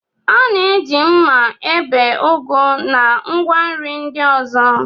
A na-eji mma ebe ugu na ngwa nri ndị ọzọ.